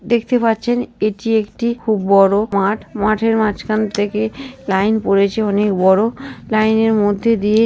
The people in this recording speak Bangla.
দেখতে পাচ্ছেন এটি একটি খুব বড় মাঠ। মাঠের মাঝখান থেকে লাইন পড়েছে অনেক বড় লাইনের মধ্যে দিয়ে --